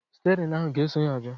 Stịerịn ahụ a ga-eso ya bịa?